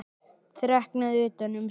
Þreknað utan um sig.